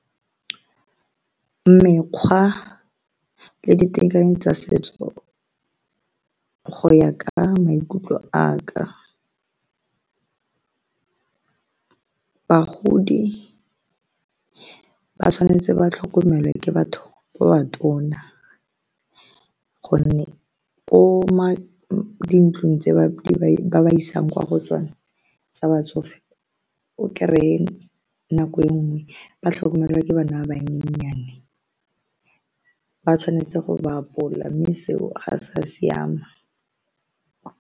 Mekgwa le ditekanyetso tsa setso go ya ka maikutlo a ka, bagodi ba tshwanetse ba tlhokomelwe ke batho ba ba tona gonne ko dintlong tse ba ba isang kwa go tsone tsa batsofe o kry-e nako e nngwe ba tlhokomelwa ke bana ba bannyenyane ba tshwanetse go ba apola mme seo ga sa siama.